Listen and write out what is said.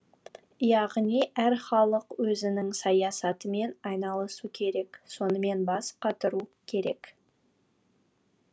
яғни әр халық өзінің саясатымен айналысу керек сонымен бас қатыру керек